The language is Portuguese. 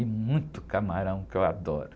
E muito camarão, que eu adoro.